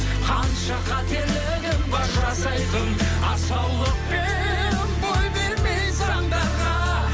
қанша қателігім бар жасайтын асаулықпен бой бермей заңдарға